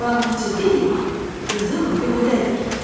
Balıqçı deyir qızıl göldədir.